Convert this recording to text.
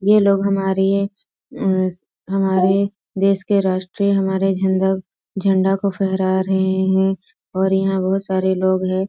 यह लोग हमारी अ हमारे देश के राष्ट्रीय हमारे झंडा झंडा को फहरा रहें हैं और यहाँ बहुत सारे लोग हैं।